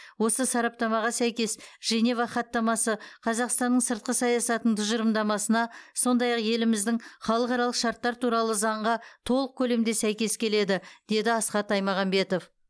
осы сараптамаға сәйкес женева хаттамасы қазақстанның сыртқы саясатының тұжырымдамасына сондай ақ еліміздің халықаралық шарттар туралы заңға толық көлемде сәйкес келеді деді асхат аймағамбетов